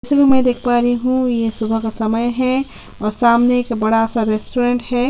इसमें मै देख पा रही हु सुबह का समय है और सामने एक रेस्टोरेंट है।